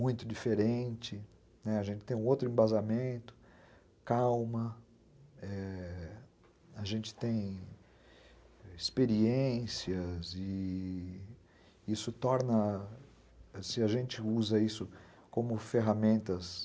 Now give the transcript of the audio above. muito diferente, né, a gente tem um outro embasamento, calma, a gente tem... experiências e... isso torna, se a gente usa isso como ferramentas